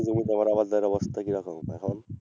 কিছু তোমার আবার দূরাঅবস্থা কি রকম এখন?